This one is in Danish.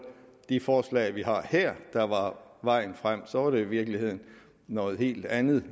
de forslag vi har her der var vejen frem så var det i virkeligheden noget helt andet